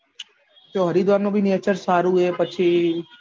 એ હરિદ્વાર નું nature પણ સારું એ પછી